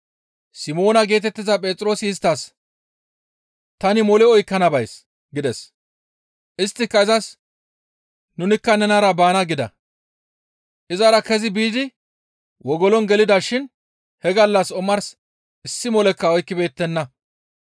Simoona geetettiza Phexroosi isttas, «Tani mole oykkana bays» gides; isttika izas, «Nunikka nenara baana» gida. Izara kezi biidi wogolon gelida shin he gallassa omars issi molekka oykkibeettenna.